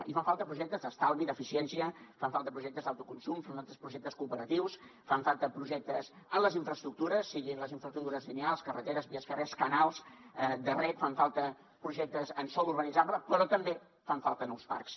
i fan falta projectes d’estalvi d’eficiència fan falta projectes d’autoconsum fan falta projectes cooperatius fan falta projectes en les infraestructures siguin les infraestructures lineals carreteres vies fèrries canals de reg fan falta projectes en sòl urbanitzable però també fan falta nous parcs